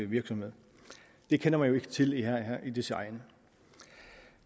virksomhed det kender man jo ikke til her i disse egne